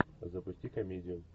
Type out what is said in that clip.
запусти комедию